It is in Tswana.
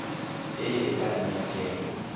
e e ka nnang teng